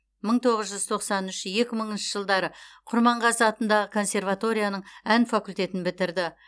мың тоғыз жүз тоқсан үш екі мыңыншы жылдары құрманғазы атындағы консерваторияның ән факультетін бітірді